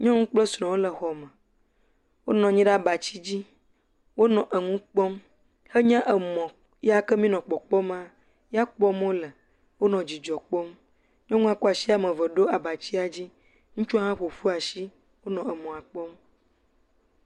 Nyɔnu kple srɔ̃wo le xɔ me. Wo nɔ anyi ɖe abati dzi. Wonɔ nu kpɔm. Enye emɔ yake mí nɔ kpɔkpɔm maa, yakpɔm wole. Wonɔ dzidzɔ kpɔm. Nyɔnua kɔ asi woame eve kɔ ɖo abatia dzi. Ŋutsu hã ƒoƒu asi wonɔ emɔ kpɔm.